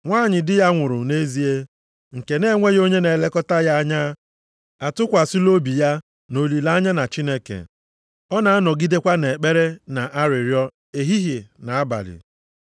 Nwanyị di ya nwụrụ nʼezie, nke na-enweghị onye na-elekọta ya anya, atụkwasịla obi ya na olileanya na Chineke. Ọ na-anọgidekwa nʼekpere na arịrịọ ehihie na abalị.